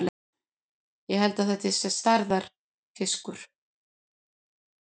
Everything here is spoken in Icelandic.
Ég held þetta sé stærðarfiskur!